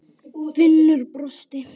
Finnur brosti.